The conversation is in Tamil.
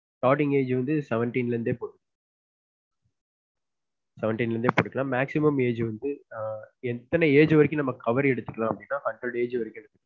Starting age வந்து seventeen ல இருந்தே போகும் seventeen ல இருந்தே எடுக்களான் maximum age வந்து ஆஹ் எத்தன age வரைக்கும் cover எடுத்துக்குளான் அப்டினா hundred age வரைக்கும் எடுத்துக்களான்